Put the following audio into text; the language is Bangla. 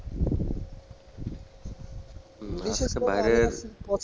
বাইরের